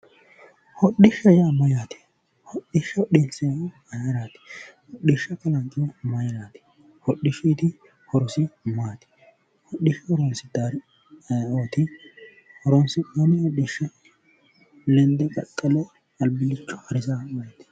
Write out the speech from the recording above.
Hodhishshaho yaa mayyaate. Hodhishsha hodhinsanni mayiraati? Hodhishsha kalanqihu mayiraati. Hodhishuyiti horosi maati? Hodhishsha horoonsidhannori ayeooti? Horoonsi'nanni hodhishsha lende qaxxale albillicho harisaahu ayeti?